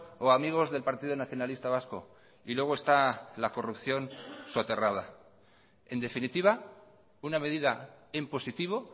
o a amigos del partido nacionalista vasco y luego está la corrupción soterrada en definitiva una medida en positivo